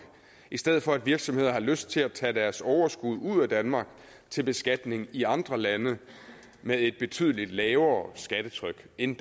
i stedet for at virksomheder har lyst til at tage deres overskud ud af danmark til beskatning i andre lande med et betydeligt lavere skattetryk end